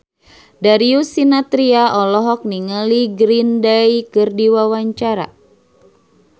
Darius Sinathrya olohok ningali Green Day keur diwawancara